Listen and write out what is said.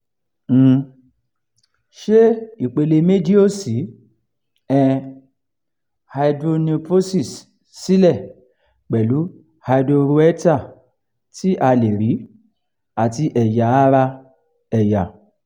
um ṣé ìpele-meji osi um hydronephrosis sílẹ̀ pẹ̀lú hydroureter tí a lè rí àti ẹ̀yà ara ẹ̀yà